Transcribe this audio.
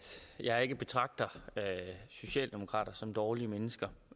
jeg ikke betragter socialdemokraterne som dårlige mennesker